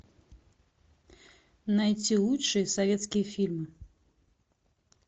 найти лучшие советские фильмы